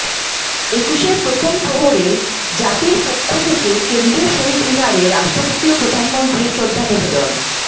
একুশের প্রথম প্রহরে জাতির পক্ষ থেকে কেন্দ্রীয় শহীদ মিনারে রাষ্ট্রপতি ও প্রধানমন্ত্রীর শ্রদ্ধা নিবেদন